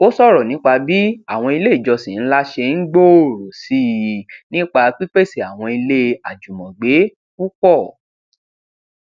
ó ṣòrọ nípa bí àwọn ilé ìjọsìn ńlá ṣe ń gbòòrò sí i nípa pípèsè àwọn ilé àjùmọgbé púpọ